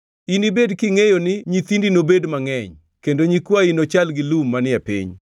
Inibed kingʼeyo ni nyithindi nobed mangʼeny, kendo nyikwayi nochal gi lum manie piny.